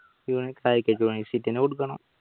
എന്നെ കൊടുക്കണം